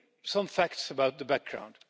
Some facts about the background.